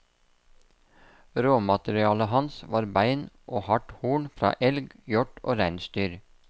Råmaterialet hans var bein og hardt horn fra elg, hjort og reinsdyr.